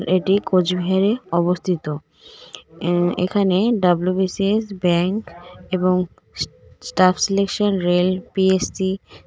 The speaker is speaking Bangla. এটি কোচবিহারে অবস্থিত অ্যা এখানে ডাব্লিউ_বি_সি_এস ব্যাংক এবং স্ স্টাফ সিলেকশন রেল পি_এস_সি --